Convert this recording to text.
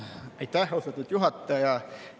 Aitäh, austatud juhataja!